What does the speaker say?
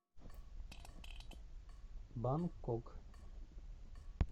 бангкок